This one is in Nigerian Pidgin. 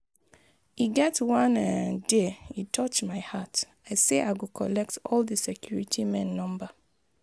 E get one um day e touch my heart, I say I go collect all the security men number.